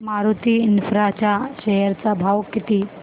Maruti infra च्या share चा भाव किती